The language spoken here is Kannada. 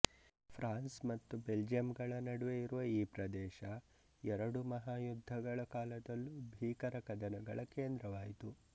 ಫ್ರಾನ್ಸ್ ಮತ್ತು ಬೆಲ್ಜಿಯಂಗಳ ನಡುವೆ ಇರುವ ಈ ಪ್ರದೇಶ ಎರಡು ಮಹಾಯುದ್ಧಗಳ ಕಾಲದಲ್ಲೂ ಭೀಕರ ಕದನಗಳ ಕೇಂದ್ರವಾಯಿತು